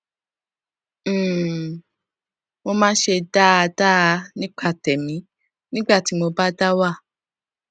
um mo máa ń ṣe dáadáa nípa tèmí nígbà tí mo bá dá wà